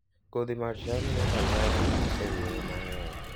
Kodhi mar cham inyalo lok e yore mang'eny